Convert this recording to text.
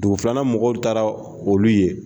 Dugu filanan mɔgɔw taara olu ye.